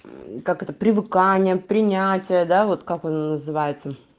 как это привыкание принятия да вот как он называется